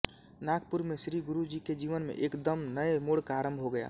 नागपुर में श्री गुरूजी के जीवन में एक दम नए मोड़ का आरम्भ हो गया